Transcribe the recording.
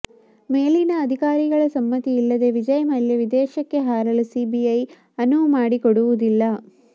ಮೇಲಿನ ಅಧಿಕಾರಿಗಳ ಸಮ್ಮತಿಯಿಲ್ಲದೆಯೇ ವಿಜಯ್ ಮಲ್ಯ ವಿದೇಶಕ್ಕೆ ಹಾರಲು ಸಿಬಿಐ ಅನುವು ಮಾಡಿಕೊಡುವುದಿಲ್ಲ